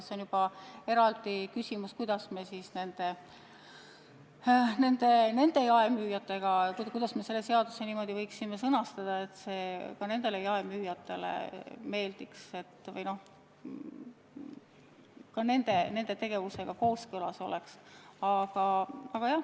See on juba eraldi küsimus, kuidas me selle seaduse niimoodi võiksime sõnastada, et see ka nendele jaemüüjatele meeldiks või nende tegevusega kooskõlas oleks.